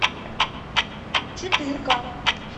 четырка